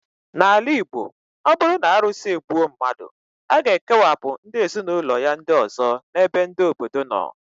N'ala Igbo, ọ bụrụ na arụsị egbuo mmadụ, a ga-ekewapụ ndị ezinụlọ ya ndị ọzọ n' ebe ndị obodo nọ